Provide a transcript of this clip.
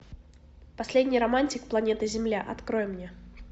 последний романтик планеты земля открой мне